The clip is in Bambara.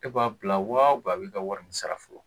E b'a bila wa u bɛn a b'i ka wari in sara fɔlɔ